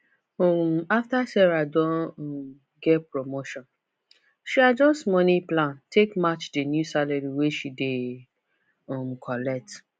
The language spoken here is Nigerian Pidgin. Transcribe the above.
um after sarah don um get promotion she adjust money plan take match the new salary wey she dey um collect